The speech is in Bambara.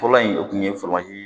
Fɔlɔ in o kun ye fɔlɔ ye